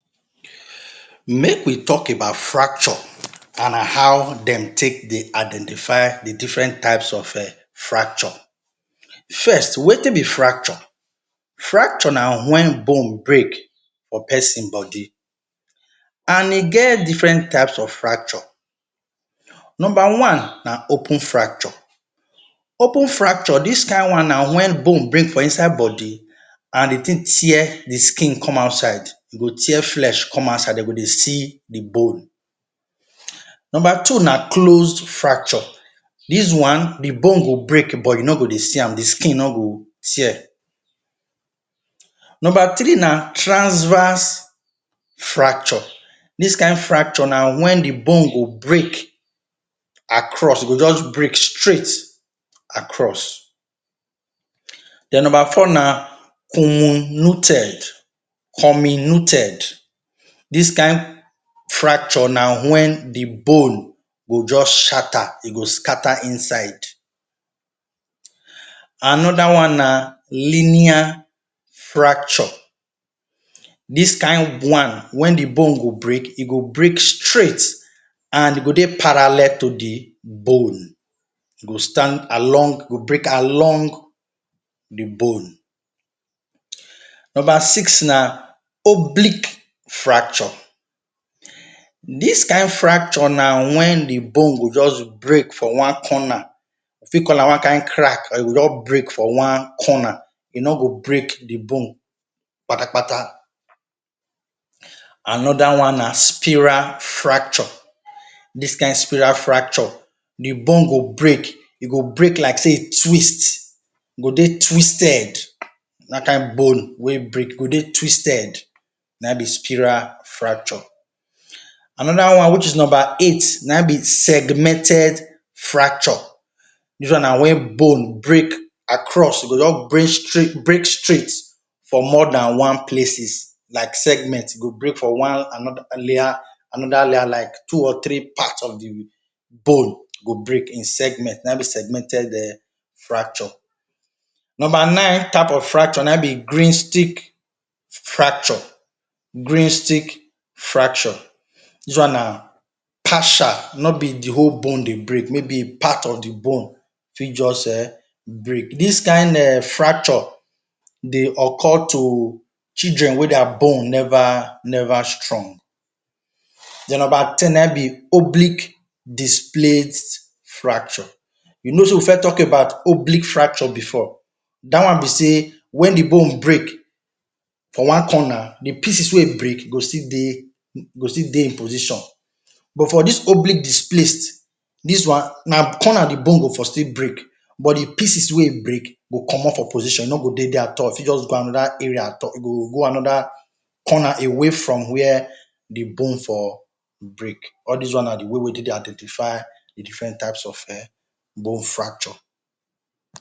Make we talk about fracture and how dem take dey identify the different types of fracture. First, wetin be fracture? Fracture na wen born break for pesin bodi and e get different type of fracture. Nomba one, na open fracture, open fracture dis kind one na wen born break for inside bodi. And di tin tear the skin come outside. E go tear flesh come outside de go dey see the born. Nomba two, na close fracture, dis one the born go break but you no go dey see am, the skin no go tear. Nomba three na, transverse fracture, dis kind fracture na wen the born go break across, break straight across. Then nomba four na hominoted, hominuted, dis kind fracture na wen the born go skata, e go skata e na skata inside. Anoda one na linear fracture, dis kind one, wen the born go break, e go break straight and e go dey paralle to the borne. E go stand along, e go break along di bone. Nomba six na oblique fracture, dis kind fracture na wen the borne go just brek for one corna, you fit call am one kind crack, e go just brek for one corna, e no brek di bone kpata-kpata. Anoda one na spiral fracture. Dis kind spiral fracture, the borne go brek, e go brek like sey e dey twist, e go dey twisted. Dat kind borne wey break, e go dey twisted, na in be spiral fracture. Anoda one which is na in be nomba eight, na in segmented fracture, dis one na wen borne brek across, e go just brek astraight, e go just brek straight for more dan one places, like segment,e go brek for one leya like two or three of the born go brek in segment na in be segmented fracture. Nomba nine type of fracture na in be green stick fracture, dis one na partial fracture no be the whole borne dey brek. May be part of the born fit just brek. Dis kind fracture dey occure to children wey dia borne neva strong. Den, nomba ten na in be oblique displaced fracture, you no sey we first talk about oblique fracture before, da one be sey, wen the born break for one corner, the pieces wey brek go still dey e position but for dis oblique displaced na corner the born go still brek but the pieces wey brek go comot for e position e no go dey the position at all, e go go anoda area go corna from where the born for brek.